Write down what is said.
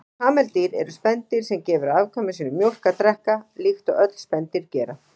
Kameldýr eru spendýr sem gefur afkvæmum sínum mjólk að drekka, líkt og öll spendýr gera.